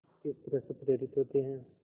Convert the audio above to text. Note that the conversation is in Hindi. किस तरह से प्रेरित होते हैं